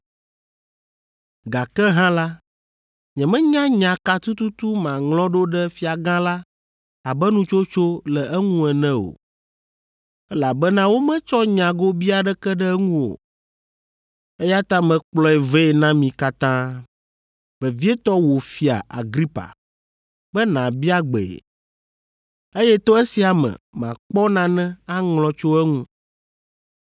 Gake hã la, nyemenya nya ka tututu maŋlɔ ɖo ɖe Fiagã la abe nutsotso le eŋu ene o, elabena wometsɔ nya gobii aɖeke ɖe eŋu o. Eya ta mekplɔe vɛ na mi katã, vevietɔ wò Fia Agripa, be nàbia gbee, eye to esia me makpɔ nane aŋlɔ tso eŋu.